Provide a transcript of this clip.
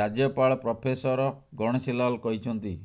ରାଜ୍ୟପାଳ ପ୍ରଫେସର ଗଣେଶୀ ଲାଲ କହିଛନ୍ତି